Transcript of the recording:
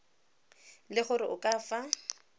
le gore o ka fa